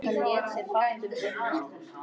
Ég er að fara líka, tilkynnti hún.